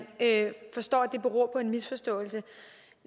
forstår at det beror på en misforståelse